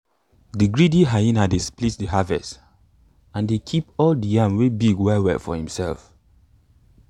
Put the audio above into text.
de greedy hyena dey split de harvest and dey keep all de yam wey big well well for himself